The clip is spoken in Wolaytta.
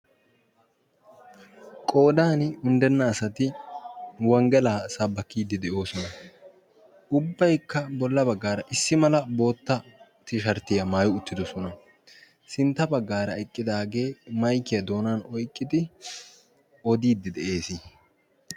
qoodan unddenna asati wonggelaa sabbakkiiddi de7oosona ubbaikka bolla baggaara issi mala bootta tisharttiyaa maayi uttidosona sintta baggaara eqqidaagee maikiyaa doonan oiqqidi odiiddi de7ees